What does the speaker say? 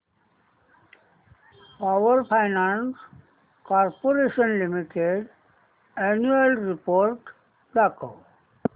power finance corporation limited annual report दाखव